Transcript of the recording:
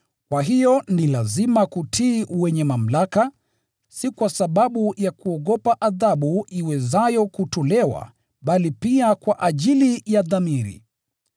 Kwa hiyo ni lazima kutii wenye mamlaka, si kwa sababu ya kuogopa adhabu iwezayo kutolewa, bali pia kwa ajili ya dhamiri.